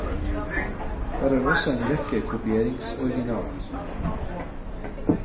Her er også en rekke kopieringsoriginaler.